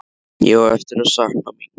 Ég á eftir að sakna mín.